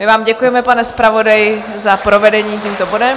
My vám děkujeme, pane zpravodaji, za provedení tímto bodem.